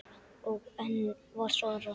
Og enn var svarað